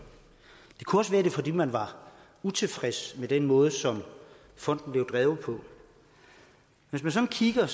det kunne også være fordi man er utilfreds med den måde som fonden bliver drevet på hvis man sådan kigger